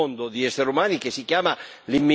asservita ai grandi interessi.